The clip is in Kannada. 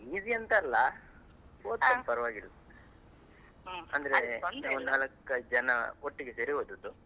Easy ಅಂತ ಅಲ್ಲ. ಓದ್ತೇನೆ , ಪರ್ವಾಗಿಲ್ಲ, ಅಂದ್ರೆ ನಾವ್ ನಾಲ್ಕ್ ಐದು ಜನ ಒಟ್ಟಿಗೆ ಸೇರಿ ಓದುದು.